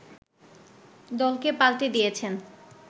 দলকে পাল্টে দিয়েছেন